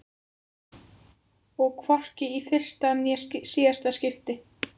Og hvorki í fyrsta né síðasta skipti.